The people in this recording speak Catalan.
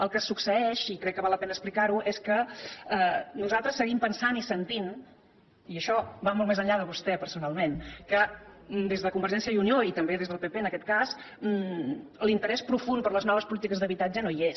el que succeeix i crec que val la pena explicar ho és que nosaltres seguim pensant i sentint i això va molt més enllà de vostè personalment que des de convergència i unió i també des del pp en aquest cas l’interès profund per les noves polítiques d’habitatge no hi és